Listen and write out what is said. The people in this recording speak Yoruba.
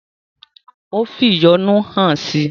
Ó fi ìyọ́nú hàn si.